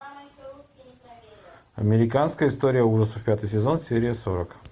американская история ужасов пятый сезон серия сорок